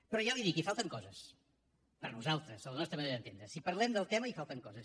però ja li ho dic hi falten coses per nosaltres a la nostra manera d’entendre ho si parlem del tema hi falten coses